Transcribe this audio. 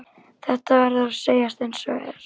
Það verður að segjast einsog er.